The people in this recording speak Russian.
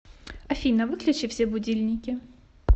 афина выключи все будильники